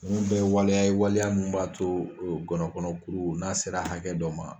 Ninnu bɛɛ ye waliya ye waliya min b'a to ngɔnɔnkɔnɔkuru n'a sera hakɛ dɔ ma